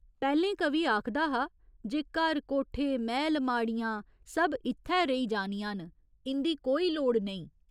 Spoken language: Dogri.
पैह्‌लें कवि आखदा हा जे घर कोठे, मैह्‌ल माड़ियां सब इत्थै रेही जानियां न, इं'दी कोई लोड़ नेईं।